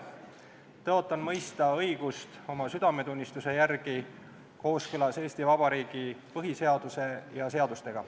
Tõotan mõista õigust oma südametunnistuse järgi kooskõlas Eesti Vabariigi põhiseaduse ja seadustega.